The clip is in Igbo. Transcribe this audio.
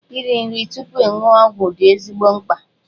Iri nri tupu ịṅụ ọgwụ dị ezigbo mkpa.